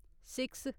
six